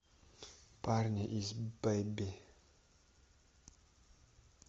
парни из бебы